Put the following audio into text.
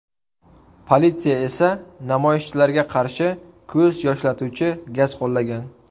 Politsiya esa namoyishchilarga qarshi ko‘z yoshlatuvchi gaz qo‘llagan.